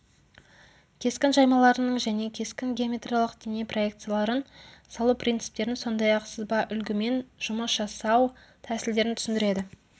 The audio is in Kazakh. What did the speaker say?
кескін жаймаларының және кескін геометриялық дене проекцияларын салу принциптерін сондай-ақ сызба үлгімен жұмыс жасау тәсілдерін түсіндіреді